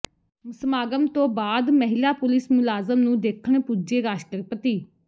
ਸਮਾਗਮ ਤੋਂ ਬਾਅਦ ਮਹਿਲਾ ਪੁਲਿਸ ਮੁਲਾਜ਼ਮ ਨੂੰ ਦੇਖਣ ਪੁੱਜੇ ਰਾਸ਼ਟਰਪਤੀ